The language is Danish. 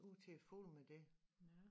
Ud til fuglene med det